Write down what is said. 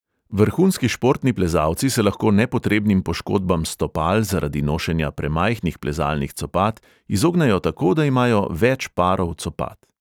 Vrhunski športni plezalci se lahko nepotrebnim poškodbam stopal zaradi nošenja premajhnih plezalnih copat izognejo tako, da imajo več parov copat.